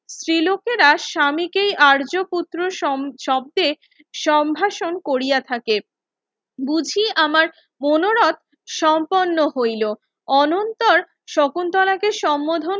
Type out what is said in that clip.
স্ত্রী লোকেরা স্বামীকেই আর্য পুত্র এর শব্ধে সম্ভাষণ কোরিয়া থাকে বুঝি আমার মনোরোত সম্পুর্ন্ন হইলো অনন্তর শকুন্তলাকে সমম্মোধন